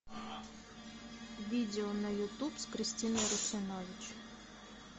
видео на ютуб с кристиной русинович